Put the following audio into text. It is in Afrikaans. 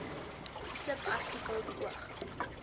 subartikel beoog